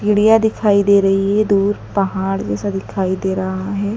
Media दिखाई दे रही है दूर पहाड़ जैसा दिखाई दे रहा है।